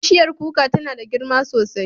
Bishiyar kuka tana da girma sosai.